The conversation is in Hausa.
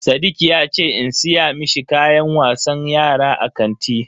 Sadiq yace in siya mishi kayan wasan yara a kanti.